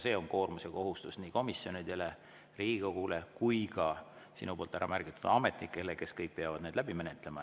See on koormus ja kohustus nii komisjonidele, Riigikogule kui ka sinu poolt ära märgitud ametnikele, kes peavad need kõik läbi menetlema.